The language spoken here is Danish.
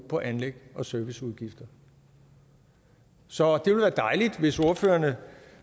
på anlægs og serviceudgifter så det ville være dejligt hvis ordførerne